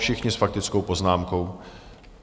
Všichni s faktickou poznámkou.